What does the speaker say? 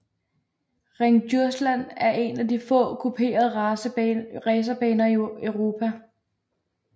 Ring Djursland er en af de få kuperede racerbaner i Europa